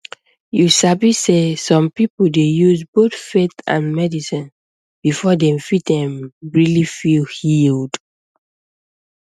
you sabi sey some people dey use both faith and medicine before dem fit erm really feel healed